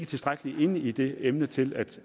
tilstrækkeligt inde i det emne til at